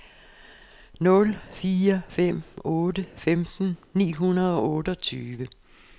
nul fire fem otte femten ni hundrede og otteogtyve